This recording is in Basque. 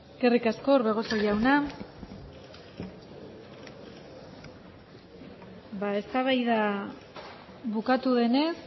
eskerrik asko orbegozo jauna eztabaida bukatu denez